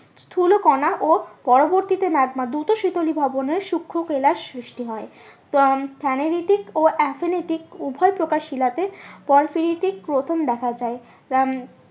স্থুলকনা ও পরবর্তীতে ম্যাগমা দূত শীতলী ভ্রমণে সুক্ষ কেলাস সৃষ্টি হয় ও ephanetic উভয় প্রকার শিলাতে গ্রথন দেখা যায়।